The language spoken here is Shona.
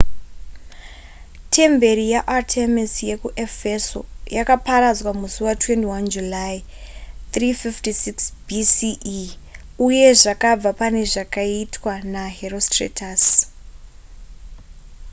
temberi yaartemis yekuefeso yakaparadzwa musi wa21 july 356 bce uye zvakabva pane zvakaitwa naherostratus